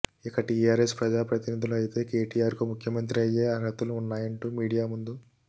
ఇక టీఆర్ఎస్ ప్రజా ప్రతినిధులు అయితే కేటీఆర్ కు ముఖ్యమంత్రి అయ్యే అర్హతలు ఉన్నాయంటు మీడియా ముందు